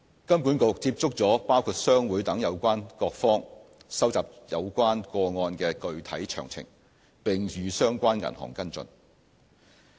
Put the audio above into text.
金管局接觸了包括商會等有關各方，收集有關個案的具體詳情，並與相關銀行跟進。